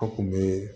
A kun be